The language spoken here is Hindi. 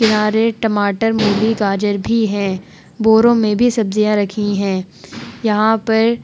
किनारे टमाटर मूली गाजर भी हैं। बोरो में भी सब्जियां रखी हैं। यहाँ पर --